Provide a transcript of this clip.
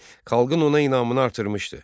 Xalqın ona inamını artırmışdı.